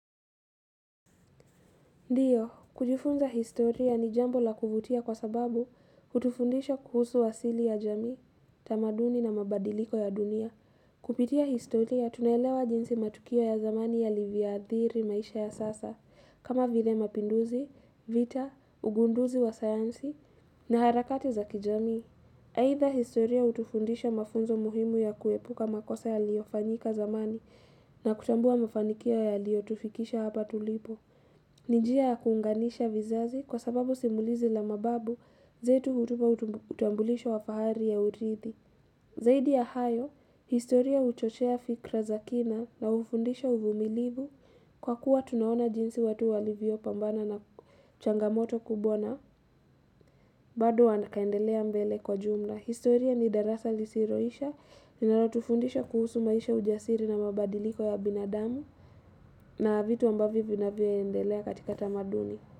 Ndiyo, kujifunza historia ni jambo la kuvutia kwa sababu hutufundisha kuhusu wasili ya jamii, tamaduni na mabadiliko ya dunia. Kupitia historia, tunaelewa jinsi matukio ya zamani yalivyoadhiri maisha ya sasa, kama vile mapinduzi, vita, ugunduzi wa sayansi na harakati za kijamii. Aidha historia hutufundisha mafunzo muhimu ya kuepuka makosa yaliyofanyika zamani na kutambua mafanikio yaliyotufikisha hapa tulipo. Ni njia ya kuunganisha vizazi kwa sababu simulizi la mababu zetu hutupa utambulisho wa fahari ya urithi. Zaidi ya hayo, historia huchochea fikra za kina na hufundisha uvumilivu kwa kuwa tunaona jinsi watu walivyopambana na changamoto kubwa na, bado wakaendelea mbele kwa jumla. Historia ni darasa lisiloisha, linalotufundisha kuhusu maisha ya ujasiri na mabadiliko ya binadamu na vitu ambavyo vinavyaendelea katika tamaduni.